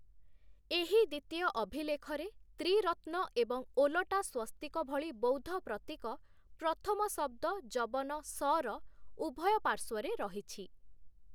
ଏହି ଦ୍ୱିତୀୟ ଅଭିଲେଖରେ, ତ୍ରିରତ୍ନ ଏବଂ ଓଲଟା ସ୍ୱସ୍ତିକ ଭଳି ବୌଦ୍ଧ ପ୍ରତୀକ ପ୍ରଥମ ଶବ୍ଦ 'ଯବନ(ସ)' ର ଉଭୟ ପାର୍ଶ୍ୱରେ ରହିଛି ।